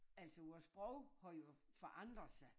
Altså vor sprog har jo forandret sig